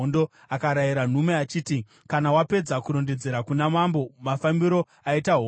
Akarayira nhume achiti, “Kana wapedza kurondedzera kuna mambo mafambiro aita hondo,